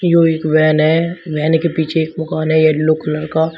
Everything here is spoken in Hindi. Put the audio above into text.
जो एक वैन है वैन के पीछे एक दुकान है येलो कलर का।